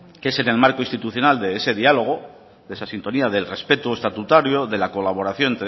que es en el marco institucional de ese diálogo de esa sintonía del respeto estatutario de la colaboración